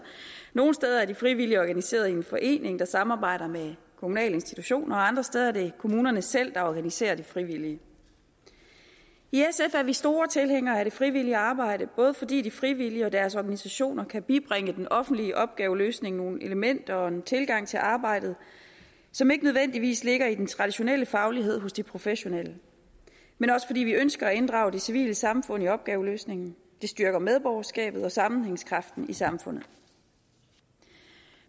nogle steder er de frivillige organiseret i en forening der samarbejder med kommunale institutioner og andre steder er det kommunerne selv der organiserer de frivillige i sf er vi store tilhængere af det frivillige arbejde både fordi de frivillige og deres organisationer kan bibringe den offentlige opgaveløsning nogle elementer og en tilgang til arbejdet som ikke nødvendigvis ligger i den traditionelle faglighed hos de professionelle men også fordi vi ønsker at inddrage det civile samfund i opgaveløsningen det styrker medborgerskabet og sammenhængskraften i samfundet